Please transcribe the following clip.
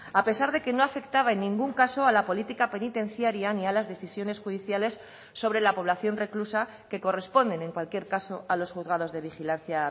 a pesar de que no afectaba en ningún caso a la política penitenciaria ni a las decisiones judiciales sobre la población reclusa que corresponden en cualquier caso a los juzgados de vigilancia